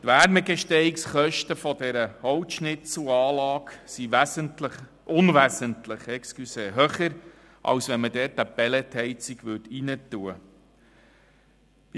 Die Wärmegestehungskosten der Holzschnitzelanlage sind unwesentlich höher, als wenn man dort eine Pelletheizung einbauen würde.